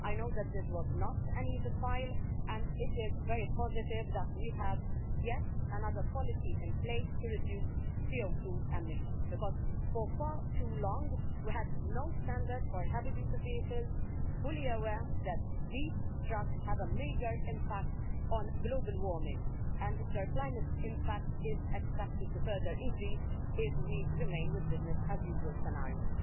I know that this was not an easy file, and it is very positive that we have yet another policy in place to reduce CO2 emissions, because for far too long we had no standards for heavy duty vehicles, fully aware that these trucks have a major impact on global warming and that their climate impact is expected to further increase if we remain with the business as usual' scenario.